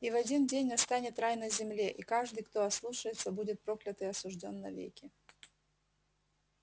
и в один день настанет рай на земле и каждый кто ослушается будет проклят и осуждён навеки